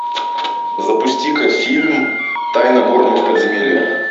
запусти ка фильм тайна горного подземелья